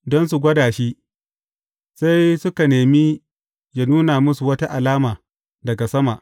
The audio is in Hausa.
Don su gwada shi, sai suka nemi yă nuna musu wata alama daga sama.